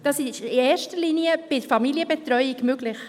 Das ist in erster Linie bei der Familienbetreuung möglich.